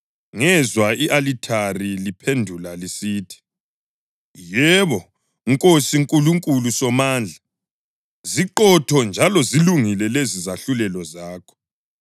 Ngezwa i-alithari liphendula lisithi: “Yebo, Nkosi Nkulunkulu Somandla, ziqotho njalo zilungile lezi zahlulelo zakho.”